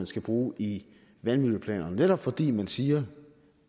skal bruges i vandmiljøplanerne netop fordi de siger